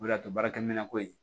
O de y'a to baarakɛminɛnko ye